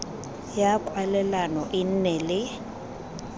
ya kwalelano e nne le